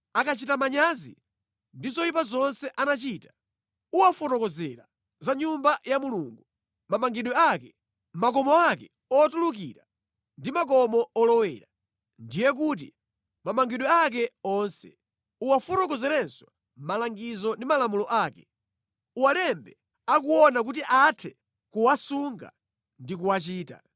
akachita manyazi ndi zoyipa zonse anachita, uwafotokozera za Nyumba ya Mulungu, mamangidwe ake, makomo ake otulukira ndi makomo olowera, ndiye kuti, mamangidwe ake onse. Uwafotokozerenso malangizo ndi malamulo ake. Uwalembe akuona kuti athe kuwasunga ndi kuwachita.